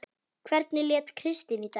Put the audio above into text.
Hvernig lét Kristín í dag?